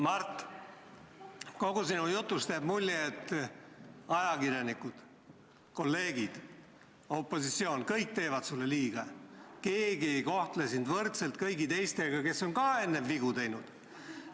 Mart, kogu sinu jutust jääb mulje, et ajakirjanikud, kolleegid, opositsioon – kõik teevad sulle liiga, keegi ei kohtle sind võrdselt kõigi teistega, kes on ka vigu teinud.